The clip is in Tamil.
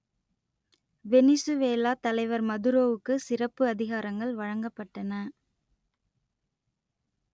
வெனிசுவேலா தலைவர் மதுரோவுக்கு சிறப்பு அதிகாரங்கள் வழங்கப்பட்டன